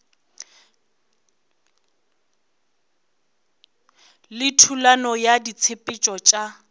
le thulano ya ditshepetšo tša